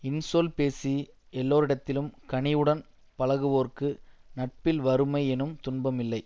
இன்சொல் பேசி எல்லோரிடத்திலும் கனிவுடன் பழகுவோர்க்கு நட்பில் வறுமை எனும் துன்பமில்லை